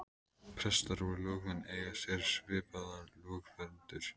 Prestar og lögmenn eiga sér svipaða lögverndun.